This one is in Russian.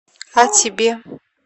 а тебе